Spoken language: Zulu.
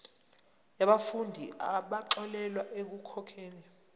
yabafundi abaxolelwa ekukhokheni